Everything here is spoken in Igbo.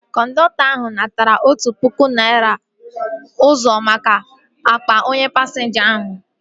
Kọndọktọ ahu natara otụ pụkụ naira ọzọ maka akpa onye pasinja ahu